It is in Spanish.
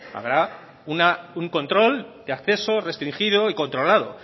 habrá un control de acceso restringido y controlado